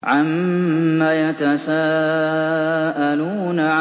عَمَّ يَتَسَاءَلُونَ